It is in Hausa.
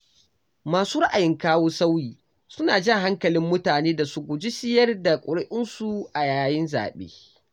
Masu raayin kawo sauyi suna jan hakalin mutane da su guji siyar da ƙuri'unsu a yayin zaɓe.